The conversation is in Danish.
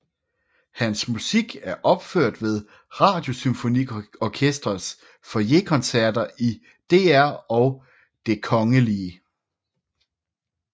Hans musik er opført ved Radiosymfoniorkestrets FoyerKoncerter i DR og Det Kgl